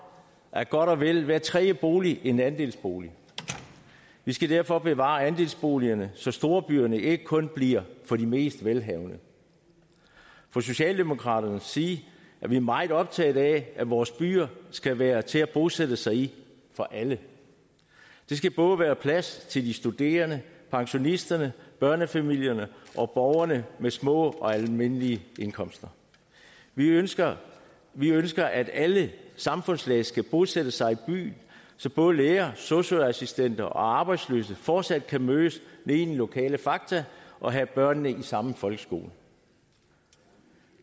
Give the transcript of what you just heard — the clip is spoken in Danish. er godt og vel hver tredje bolig en andelsbolig vi skal derfor bevare andelsboligerne så storbyerne ikke kun bliver for de mest velhavende fra socialdemokraternes side er vi meget optaget af at vores byer skal være til at bosætte sig i for alle der skal både være plads til de studerende pensionisterne børnefamilierne og borgerne med små og almindelige indkomster vi ønsker vi ønsker at alle samfundslag skal kunne bosætte sig i byer så både lærere sosu assistenter og arbejdsløse fortsat kan mødes nede i den lokale fakta og have børnene i samme folkeskole